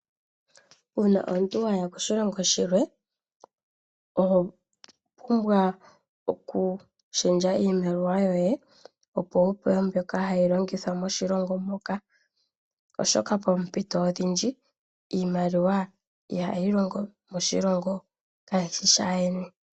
Uuna omuntu waya koshilongo shilwe, oho pumbwa okushendja iimaliwa yoye opo wupewe mbyoka hayi longithwa moshilongo moka , oshoka poompito odhindji iimaliwa ihayi longo moshilongo shaayeni.